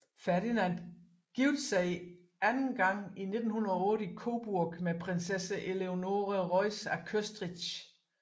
Ferdinand giftede sig anden gang i 1908 i Coburg med Prinsesse Eleonore Reuss af Köstritz